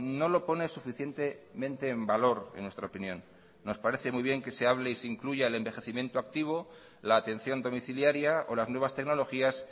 no lo pone suficientemente en valor en nuestra opinión nos parece muy bien que se hable y se incluya el envejecimiento activo la atención domiciliaria o las nuevas tecnologías